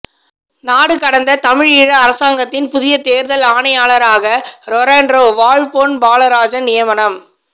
நாடுகடந்த தமிழீழ அரசாங்கத்தின் புதிய தேர்தல் ஆணையாளராக ரொரென்ரோ வாழ் பொன் பாலராஜன் நியமனம்